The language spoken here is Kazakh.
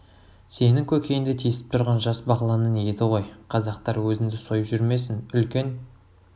сенің көкейіңді тесіп тұрған жас бағланның еті ғой қазақтар өзіңді сойып жүрмесін үлкен